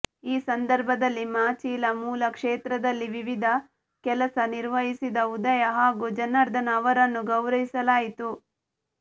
ಈ ಸಂದರ್ಭದಲ್ಲಿ ಮಾಚಿಲ ಮೂಲ ಕ್ಷೇತ್ರದಲ್ಲಿ ವಿವಿಧ ಕೆಲಸ ನಿರ್ವಹಿಸಿದ ಉದಯ ಹಾಗೂ ಜನಾರ್ದನ ಅವರನ್ನು ಗೌರವಿಸಲಾಯಿತು